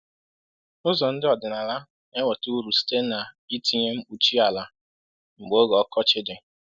Ụzọ ndị ọdịnala na-enweta uru site n’itinye mkpuchi ala mgbe oge ọkọchị dị.